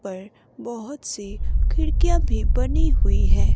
यहां पर बहुत सी खिड़कियां भी बनी हुई हैं।